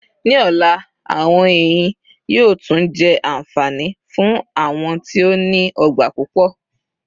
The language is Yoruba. Ní ọ̀la, àwọn ẹnyìn yóò tún jẹ́ anfani fún àwọn tí ó ní ọgbà pupọ.